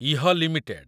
ଇହ limited